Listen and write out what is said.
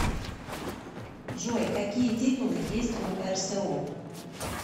джой какие титулы есть у рсо